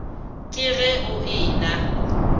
ke ge o e na